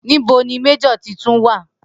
Nibo ni Major titun wa?